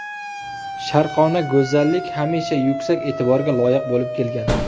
Sharqona go‘zallik hamisha yuksak e’tiborga loyiq bo‘lib kelgan.